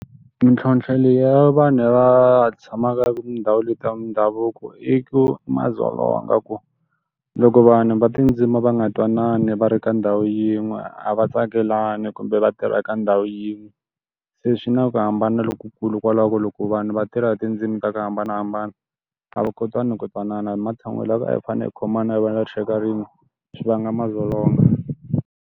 Mintlhotlho leyi ya vanhu lava va tshamaka tindhawu leti mindhavuko i ku madzolonga ku, loko vanhu va tindzimi va nga twanani va ri ka ndhawu yin'we a va tsakelani kumbe va tirha ya ka ndhawu yin'we. Se swi na ku hambana lokukulu kwalaho ku loko vanhu va tirha hi tindzimi ta ku hambanahambana, a va kotani ku twanana hi matshan'wini loko a hi fanele hi khomana hi va na rixaka rin'we, swi vanga madzolonga.